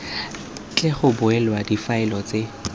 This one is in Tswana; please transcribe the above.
tle go bulwe difaele tse